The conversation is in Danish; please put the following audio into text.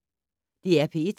DR P1